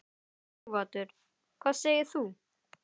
Sighvatur: Hvað segir þú?